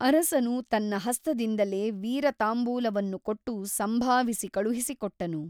ಅರಸನು ತನ್ನ ಹಸ್ತದಿಂದಲೇ ವೀರತಾಂಬೂಲವನ್ನು ಕೊಟ್ಟು ಸಂಭಾವಿಸಿ ಕಳುಹಿಸಿಕೊಟ್ಟನು.